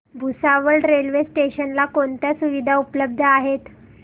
Bhusawal railway station ला कोणत्या सुविधा उपलब्ध आहेत